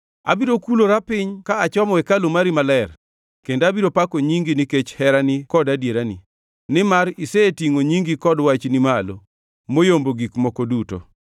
Abiro kulora piny ka achomo hekalu mari maler kendo abiro pako nyingi, nikech herani kod adierani, nimar isetingʼo nyingi kod Wachni malo moyombo gik moko duto.